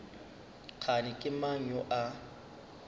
kgane ke mang yo a